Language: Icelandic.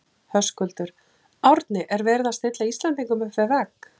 Höskuldur: Árni er verið að stilla Íslendingum upp við vegg?